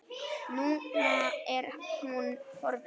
Núna er hún horfin.